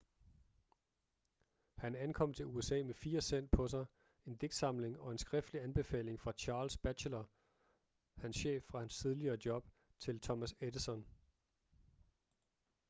han ankom til usa med 4 cent på sig en digtsamling og en skriftlig anbefaling fra charles batchelor hans chef fra hans tidligere job til thomas edison